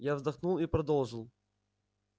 я вздохнул и продолжил